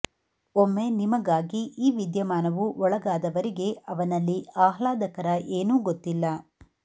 ಒಮ್ಮೆ ನಿಮಗಾಗಿ ಈ ವಿದ್ಯಮಾನವು ಒಳಗಾದವರಿಗೆ ಅವನಲ್ಲಿ ಆಹ್ಲಾದಕರ ಏನೂ ಗೊತ್ತಿಲ್ಲ